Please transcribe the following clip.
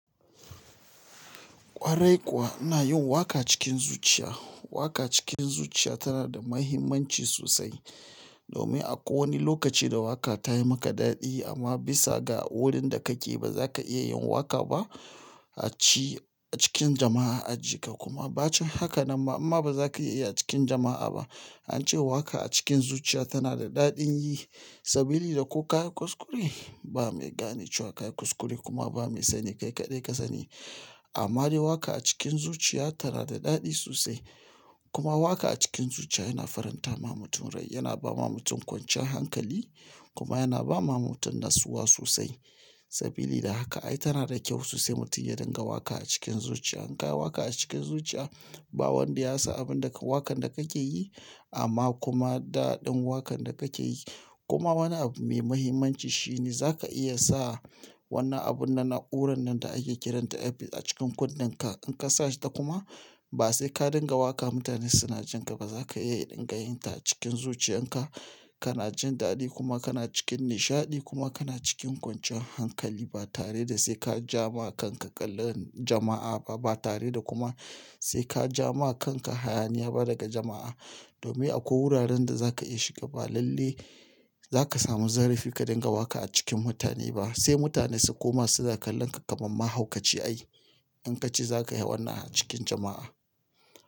Kwarai kuwa ina yin waka cikin zuciya. Waka cikin zuciya tana da muhimmanci sosai akwai wani lokaci da waka tayi maka dadi amma bisa ga wurin da kake baza ka iya yin waka acikin jama'a hakana ma imma ba za ka iya a ci a cikin jama'a a ji ka kuma. An ce waka a cikin zuciya tana da daɗin yi saboda da ko ka yi kuskure, ba mai gane shi wa ka yi kuskure kuma ba mai sani kai kaɗai ka sani. Amma dai waka a cikin zuciya tana da daɗi sosai kuma waja a cikin zuciya yana faranta ma mutum rai, yana ba ma mutum kwanciyar hankali kuma yana ba ma mutum natsuwa sosai. Saboda da haka ai tana da kyau sosai mutum ya dinga waka a cikin zuciya. In ka yi waka a cikin zuciya, ba wanda ya san abin da ka wakan da kake yi amma kuma daɗin wakan da kake yi kuma wani abu mai muhimmanci shi ne za ka iya sa wannan abun nan, na'urar nan da ake kiranta earbuds a cikin kundun ka. In ka sa shi ta kuma ba sai ka dinga waka mutane suna jin ka ba. Za ka iya yin dangayinta cikin zuciyan ka, kana jin daɗi kuma kana cikin nishaɗi kuma kana cikin kwanciyar hankali ba tare da sai ka ja ma kanka kallon jama'a ba, ba tare da kuma sai ka ja ma kanka hayaniya ba daga jama'a. Domin akwai wuraren da za ka iya shiga, ba lalle za ka samu zarafi ka dinga waka a cikin mutane ba. Sai mutane su koma su za su kalla ka kamar mahaukaci ai in ka ci za ka yi wannan a cikin jama'a.